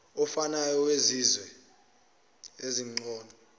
ofanayo wesizwe esingcono